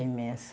Imensa.